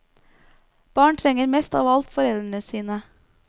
Barn trenger mest av alt foreldrene sine.